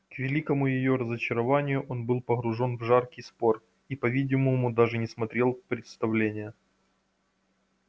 к великому её разочарованию он был погружён в жаркий спор и по-видимому даже не смотрел представления